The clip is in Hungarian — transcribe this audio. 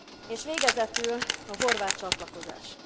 És végezetül a horvát csatlakozás.